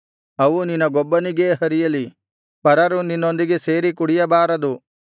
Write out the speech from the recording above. ಅವು ನಿನಗೊಬ್ಬನಿಗೇ ಹರಿಯಲಿ ಪರರು ನಿನ್ನೊಂದಿಗೆ ಸೇರಿ ಕುಡಿಯಬಾರದು